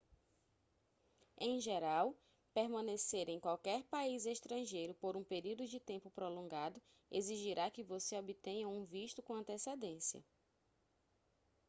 em geral permanecer em qualquer país estrangeiro por um período de tempo prolongado exigirá que você obtenha um visto com antecedência